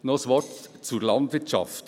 Noch ein Wort zur Landwirtschaft: